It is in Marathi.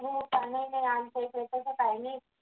हो त्याने आमचे काही छोटासा plan आहे